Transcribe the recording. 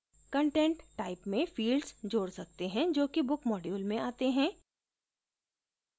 content type में fields जोड सकते हैं जो कि book module में आते हैं